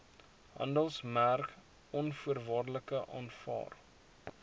handelsmerk onvoorwaardelik aanvaar